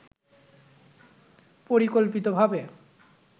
পরিকল্পিতভাবে